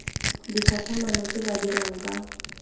ditlhatlhamano tse ba dirang ka